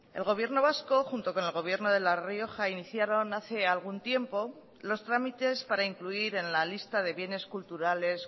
el gobierno vasco junto con el gobierno de la rioja iniciaron hace algún tiempo los trámites para incluir en la lista de bienes culturales